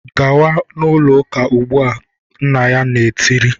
"Gawa n'ụlọ ụka ugbu a! Nna ya tiri